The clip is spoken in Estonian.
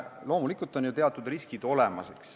Loomulikult on teatud riskid olemas.